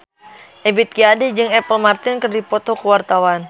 Ebith G. Ade jeung Apple Martin keur dipoto ku wartawan